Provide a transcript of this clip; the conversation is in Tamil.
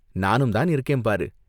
நானும் தான் இருக்கேன் பாரு!